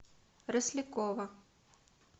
рослякова